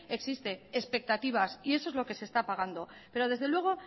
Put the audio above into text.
existe expectativas y eso es lo que se está pagando pero desde luego